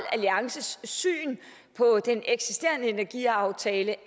alliances syn på den eksisterende energiaftale